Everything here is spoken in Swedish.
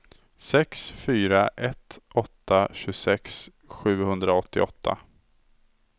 sex fyra ett åtta tjugosex sjuhundraåttioåtta